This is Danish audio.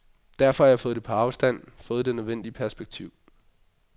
Derfor har jeg fået det på afstand, fået det nødvendige perspektiv.